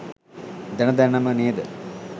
දැන දැනම ‌නේද?